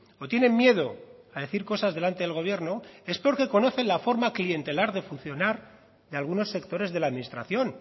o tienen miedo a decir cosas delante del gobierno es porque conocen la forma clientelar de funcionar de algunos sectores de la administración